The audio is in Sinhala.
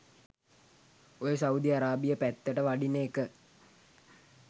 ඔය සවුදි අරාබිය පැත්තට වඩින එක